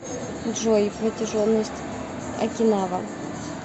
джой протяженность окинава